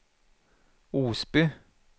Osby